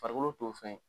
Farikolo t'o fɛn